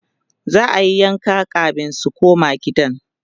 za'ayi yanka kamin su koma gidan